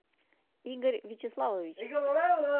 игорь вячеславович